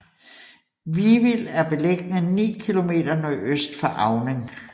Vivild er beliggende ni kilometer nordøst for Auning